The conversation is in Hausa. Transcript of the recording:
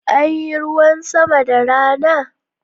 Anyi ruwan sama da rana?